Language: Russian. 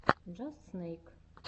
джаст снэйк